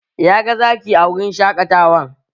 Na ga Zaki a wurin shaƙatawan